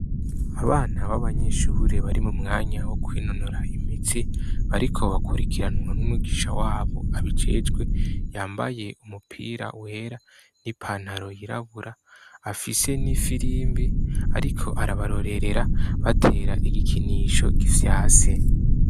Abana b'abanyeshure bari mu mwanya wo kwinonora imitsi, bariko bakurikiranwa n'umwigisha wabo abijejwe, yambaye umupira wera n'ipantaro yirabura, afise n'ifirimbi ariko arabarorerera, batera igikinisho gifyase.